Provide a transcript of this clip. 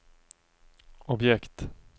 objekt